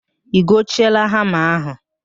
I gochieela hama m ahụ?